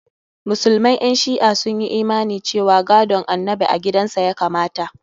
Musulman ƴan shi'a sun yi imani cewa gadon annabi a gidan sa ya kamata.